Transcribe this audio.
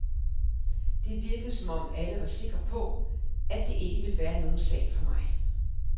Det virkede som om alle var sikre på, at det ikke ville være nogen sag for mig.